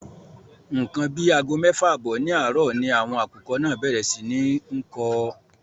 Ńkan àbí àgọ méfà àbọ́ ní àárò ni àwọn akùkọ́ náà bèrè sí ní nkó.